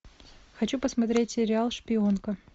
хочу посмотреть сериал шпионка